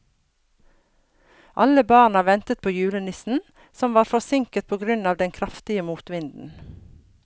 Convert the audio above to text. Alle barna ventet på julenissen, som var forsinket på grunn av den kraftige motvinden.